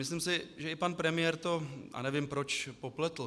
Myslím si, že i pan premiér to, a nevím proč, popletl.